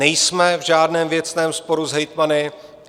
Nejsme v žádném věcném sporu s hejtmany.